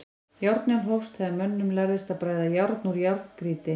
Járnöld hófst þegar mönnum lærðist að bræða járn úr járngrýti.